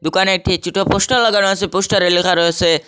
দোকানে একটি ছোটো পোস্টার লাগানো আসে পোস্টারে লেখা রয়েসে--